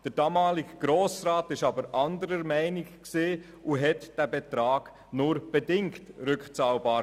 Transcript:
Der damalige Grosse Rat war jedoch anderer Meinung, und er machte den Betrag nur bedingt rückzahlbar.